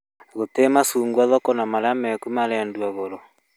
Gũtirĩ macugwa thoko na marĩa marĩkuo marendio goro